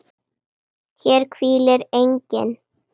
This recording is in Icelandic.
HÉR HVÍLIR ENGINN